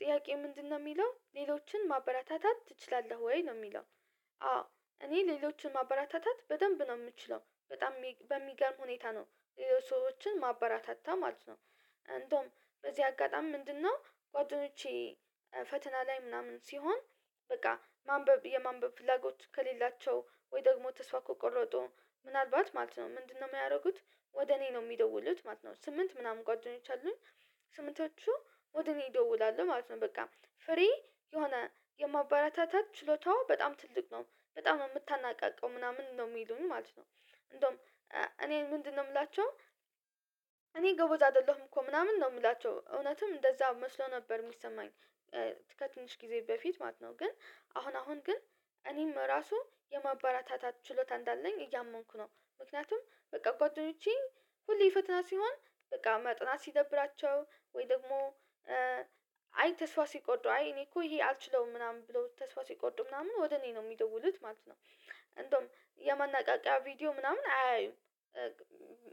ጥያቄ ምንድነው የሚለው ሌሎችን ማበረታታት ትችላለህ ወይ ነው የሚለው? አዎ እኔ ሌሎችን ማበራታታት በደንብ ነው የምችለው በጣም በሚገርም ሁኔታ ነው። ሰዎችን ማበራታታ ማለት ነው። እንደውም በዚህ አጋጣሚ ምንድነው ጓደኞቼ ፈተና ላይ ምናምን ሲሆን። በቃ ማንበብ የማንበብ ፍላጎት ከሌላቸው ወይ ደግሞ ተስፋ ከቆረጡ ምናልባት ማለት ነው ምንድነው የሚያደርጉት? ወደ እኔ ነው የሚደውሉት ማለት ነው ስምንት ምናምን ጓደኞች አሉኝ። ስምንቶቹ ወደ እኔ ይደውላሉ ማለት ነው። በቃ ፍሬ የሆነ የማበረታታት ችሎታዋ በጣም ትልቅ ነው። በጣም ነው የምታናቃቃው ምናምን ነው የሚሉኝ ማለት ነው። እንደውም እኔ ምንድነው የምላቸው? እኔ ጎበዝ አይደለሁም እኮ ምናምን ነው ምላቸው እውነትም እንደዛ መስሎ ነበር ሚሰማኝ። ከትንሽ ጊዜ በፊት ማለት ነው ግን አሁን አሁን ግን እኔም ራሱ የማበረታታት ችሎታ እንዳለኝ እያመንኩ ነው። ምክንያቱም በቃ ጓደኞቼ ሁሌ ፈተና ሲሆን በቃ ማጥናት ሲደብራቸው ወይ ደግሞ አይ ተስፋ ሲቆርጡ አይ እኔ እኮ ይሄ አልችለውም ምናምን ብለው ተስፋ ሲቆርጡ ምናምን ወደ እኔ ነው የሚደውሉት ማለት ነው። እንደውም የማነቃቂያ ቪዲዮ ምናምን አያዩም።